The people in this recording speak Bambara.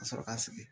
Ka sɔrɔ ka sigi